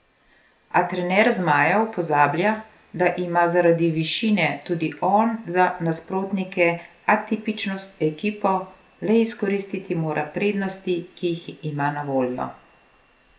A trener zmajev pozablja, da ima zaradi višine tudi on za nasprotnike atipično ekipo, le izkoristiti mora prednosti, ki jih ima na voljo.